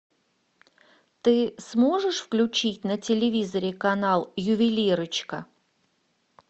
ты сможешь включить на телевизоре канал ювелирочка